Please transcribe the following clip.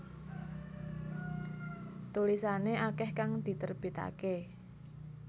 Tulisane akeh kang diterbitake